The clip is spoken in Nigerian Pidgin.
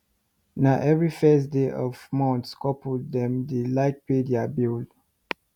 na every first day for month couple dem dey like pay deir bill